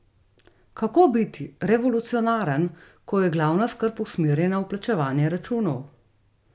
Kako biti revolucionaren, ko je glavna skrb usmerjena v plačevanje računov?